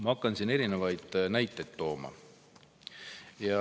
Ma hakkan siin erinevaid näiteid tooma.